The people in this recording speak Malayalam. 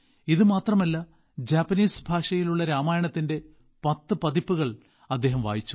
ഇത് മാത്രമല്ല ജാപ്പനീസ് ഭാഷയിലുള്ള രാമായണത്തിന്റെ 10 പതിപ്പുകൾ അദ്ദേഹം വായിച്ചു